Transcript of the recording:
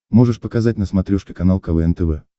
можешь показать на смотрешке канал квн тв